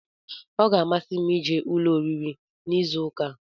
Ee ọ gá-amasi m ije ụlọ oriri n'izu ụka a